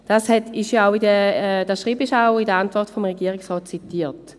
Dieses Schreiben wird in der Antwort des Regierungsrates zitiert.